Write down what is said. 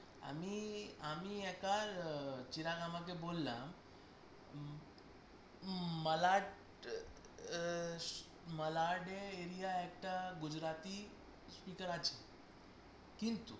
আমি আমি একার, চিরাগ আমাকে বললো উম উম মালাট আহ মালাডে area একটা গুজরাটি speaker আছে কিন্তু